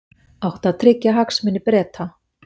Átti að tryggja hagsmuni Breta